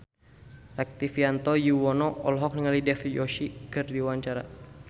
Rektivianto Yoewono olohok ningali Dev Joshi keur diwawancara